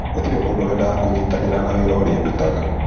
Gũtirĩ mũndũ wendaga kũnyitanĩra na wĩra ũrĩa ndutaga".